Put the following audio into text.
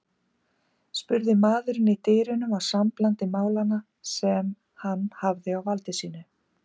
spurði maðurinn í dyrunum á samblandi málanna sem hann hafði á valdi sínu.